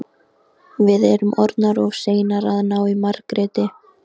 Já en nú vilja þau að hún komi, Þorfinnur minn.